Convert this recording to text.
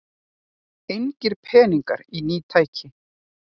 Engir peningar í ný tæki